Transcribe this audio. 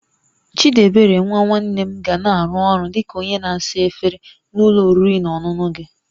Chidiebere nwa nwanne m ga na-arụ ọrụ dị ka onye na-asa efere na ụlọ oriri na ọṅụṅụ gị